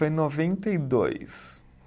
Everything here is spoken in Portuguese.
Foi em noventa e dois